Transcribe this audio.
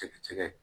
Tigɛ tigɛ